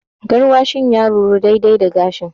Gaarwashin ya ruru, daidai da gashi.